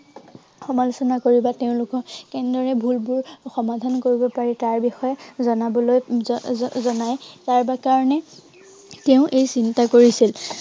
সমালোচনা কৰি বা তেওঁলোকৰ কেনেদৰে এই ভুলবোৰ সমাধান কৰিব পাৰি তাৰ বিষয়ে জনাবলৈ উম জ~জ~জনাই তাৰকাৰনে, তেওঁ এই চিন্তা কৰিছিল।